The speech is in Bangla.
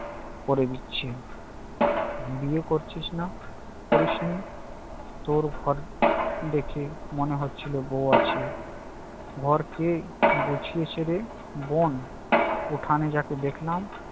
করে দিচ্ছি। বিয়ে করছিস না করিস নি? তোর ঘর দেখে মনে হচ্ছিল বউ আছে। ঘর কে ঘুছিয়েছে রে, বোন? উঠানে যাকে দেখলাম?